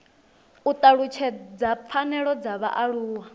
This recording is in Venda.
u talutshedza pfanelo dza vhaaluwa